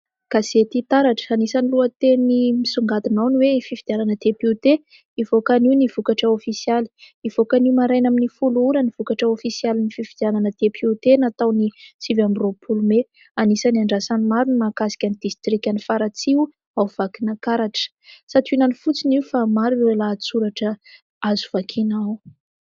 Gazety taratra, anisan'ny lohateny misongadina ao ny hoe fifidianana depiote, hivoaka anio ny vokatra ofisialy : hivoaka anio maraina amin'ny folo ora ny vokatra ofisialin'ny fifidianana depiote natao ny sivy amby roapolo " Mai ". Anisan'ny andrasan'ny maro ny mahakasika ny distrikan' i Faratsiho ao Vakinankaratra. Santionany fotsiny io fa maro ireo lahatsoratra azo vakiana ao.